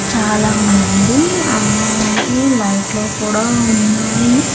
చాలామంది అలాగే లైట్లు కూడా ఉన్నాయి.